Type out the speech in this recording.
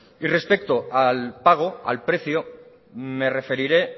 y respecto al pago al precio me referiré